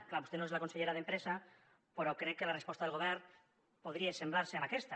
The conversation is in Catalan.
és clar vostè no és la consellera d’empresa però crec que la resposta del govern podria assemblar se a aquesta